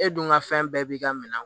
E dun ka fɛn bɛɛ b'i ka minɛn